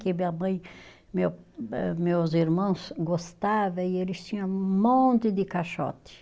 Que minha mãe, meu eh, meus irmãos gostavam e eles tinham um monte de caixote.